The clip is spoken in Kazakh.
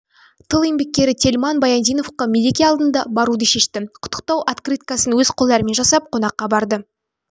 тыл еңбеккері тельман баяндиновқа мереке алдында баруды шешті құттықтау открыткасын өз қолдарымен жасап қонаққа барды